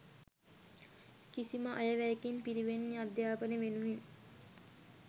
කිසිම අයවැයකින් පිරිවෙන් අධ්‍යාපනය වෙනුවෙන්